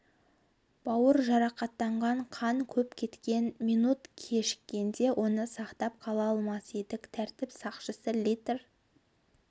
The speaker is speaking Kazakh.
бауыр жарақаттанған қан көп кеткен минут кешіккенде оны сақтап қала алмас едік тәртіп сақшысы литр